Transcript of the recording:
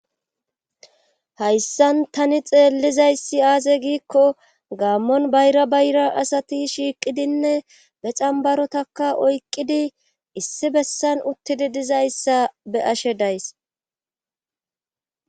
Hayssan tani xeellizayssi aaze giikko gaammon bayra bayra asati shiiqidinne be cambarotaka oyqqidi issi bessan uttidi dizayssa be ashe days.